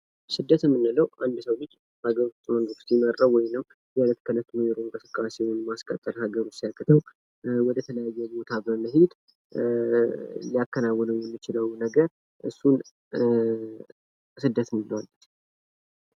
ስደት የምንለው አንድ የሰው ልጅ በሀገሩ ኑሮውን ሲመራ ወይም ደግሞ እለት ከዕለት የሚኖረውን እንቅስቃሴ ማስቀጠል ሃገሩ ሲያቅተው ወደ ተለያየ ቦታ በመሄድ ሊያከናወነው የሚችለው ነገር ስደት ነው የሚባለው።